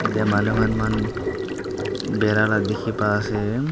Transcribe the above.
yatae manu khan mahan bira la dikhipaase.